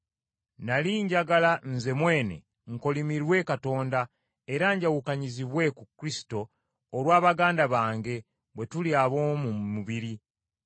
Nnali njagala nze mwene nkolimirwe Katonda era njawukanyizibwe ku Kristo olwa baganda bange, bwe tuli ab’omu mubiri,